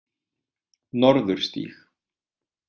Norðurstíg